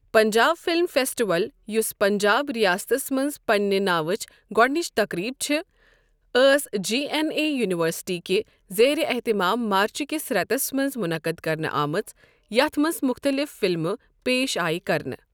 Punjab film festival, یُس پنجاب ریاستس مَنٛز پننہ ناوٕچ گۄڈنِچ تقریب چھ ۔ ٲس جی این اے یونیورسٹی کہ زیرِِ اہتمام مارٕچ کس رؠتَس مَنٛز مُنَقٕد کرنہٕ آمٕژ یَتھ مَنٛز مُختَلِف فلمہٕ پیش آیِہ کرنہٕ۔